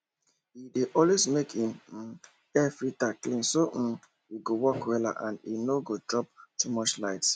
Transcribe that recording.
he dey always make him um airfilter clean so um e go work wella and e no go chop too much light